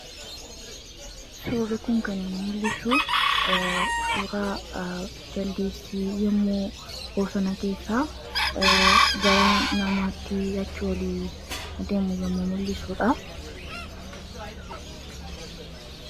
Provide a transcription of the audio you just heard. Suurri kun kan inni mul'isu suuraa Jaldeessi yommuu bosona keessaa gara namaatti achii ol deemu yemmuu mul'isudha.